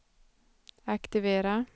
aktivera